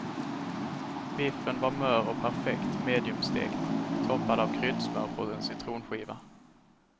Biffen var mör och perfekt medium stekt, toppad av kryddsmör på en citronskiva.